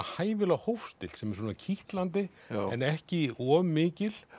hæfilega hófstillt sem er kitlandi en ekki of mikil